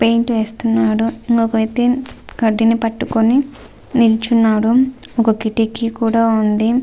Paint వేస్తున్నాడు ఒక వ్యక్తి కడ్డీని పట్టుకుని నిల్చున్నాడు. ఒక కిటికీ కూడా ఉంది.